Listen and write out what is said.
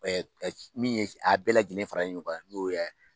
Min ye a bɛɛ lajɛlen faralen ɲɔgɔn kan n'o